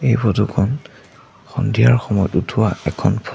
এই ফটো খন সন্ধিয়াৰ সময়ত উঠোৱা এখন ফটো ।